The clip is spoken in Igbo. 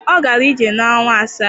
Ọ gara ije n'ọnwa asaa